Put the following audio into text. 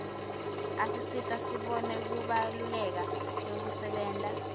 asisita sibone kubaluleka kwekusebenta